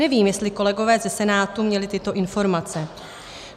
Nevím, jestli kolegové ze Senátu měli tyto informace.